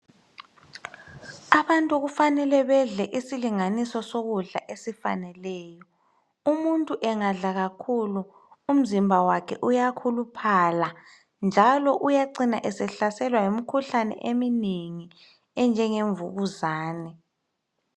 Abantu kufanele bedle isilinganiso sokudla esifaneleyo umuntu engadla kakhulu umzimba wakhe uyakhuluphala njalo uyacina esehlasela yimikhuhlane eminengi enjenge mvukuzane.